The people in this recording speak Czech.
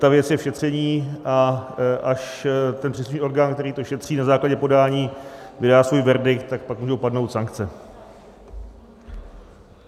Ta věc je v šetření, a až ten příslušný orgán, který to šetří na základě podání, vydá svůj verdikt, tak pak můžou padnout sankce.